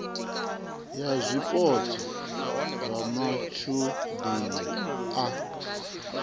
ya zwipotso zwa matshudeni a